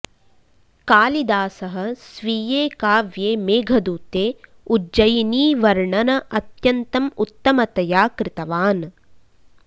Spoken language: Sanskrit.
कालिदासः स्वीये काव्ये मेघदूते उज्जयिनीवर्णन अत्यन्तम् उत्तमतया कृतवान्